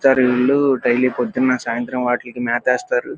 వీళ్లు డైలీ ప్రొదున్న సాయంత్రం వాటికి మతేస్తారు.